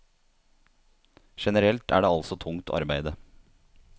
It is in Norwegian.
Generelt er det altså tungt arbeide.